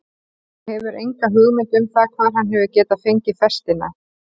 Þú hefur enga hugmynd um það hvar hann hefur getað fengið festina?